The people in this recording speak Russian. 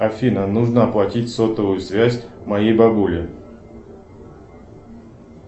афина нужно оплатить сотовую связь моей бабули